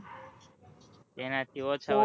એના થી ઓછા હોય